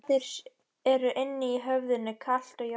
Rimlarnir eru inni í höfðinu, kalt járnið er svartur skuggi.